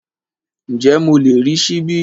Ǹjẹ́ mo lè rí ṣíbí?